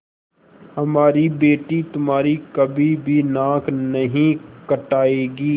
हमारी बेटी तुम्हारी कभी भी नाक नहीं कटायेगी